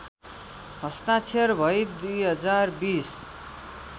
हस्ताक्षर भई २०२०